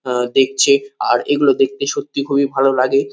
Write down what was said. আ দেখছে আর এগুলো দেখতে সত্যি খুবই ভালো লাগে।